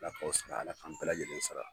I n'a fɔ bɛɛ lajɛlen sara